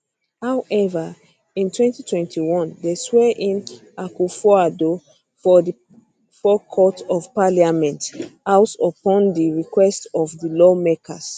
however in 2021 dem swear in akufoaddo for di forecourt of parliament house upon di request of di lawmakers